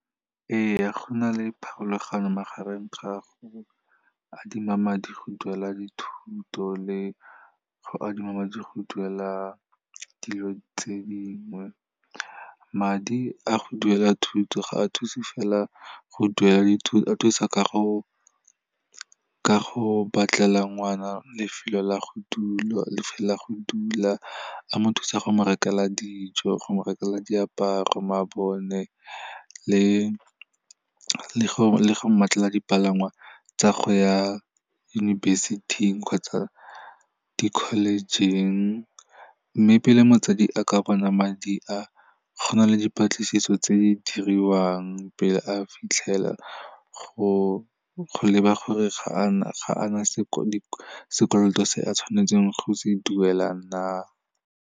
Ee, go na le pharologano magareng ga go adima madi go duela dithuto le go adima madi le go duela dilo tse dingwe. Madi a go duela thuto, ga a thuse fela go duela dithuto a thusa ka go batlela ngwana lefelo la go dula, a mo thusa go mo rekela dijo, go mo rekela diaparo, mabone le go mmatlela dipalangwa tsa go ya yunibesithing kgotsa di-college-ing. Mme pele motsadi a ka bona madi a, go na le dipatlisiso tse di diriwang pele a fitlhelela go leba gore ga ana sekoloto se a tshwanetseng go se duela na.